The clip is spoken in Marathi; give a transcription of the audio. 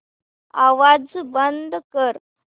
आवाज बंद कर